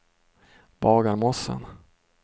Bagarmossen